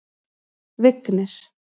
Vignir